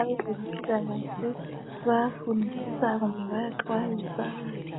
Abezempilakahle bayafundisa kumbe bayaxwayiswa